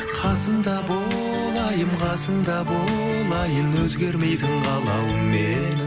қасымда бол айым қасымда бол айым өзгермейтін қалауым менің